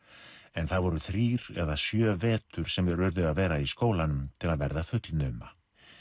en það voru þrír eða sjö vetur sem þeir urðu að vera í skólanum til að verða fullnuma